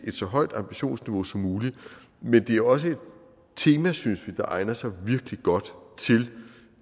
et så højt ambitionsniveau som muligt men det er også et tema synes vi der egner sig virkelig godt til